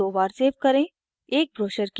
इस file को दो बार सेव करें: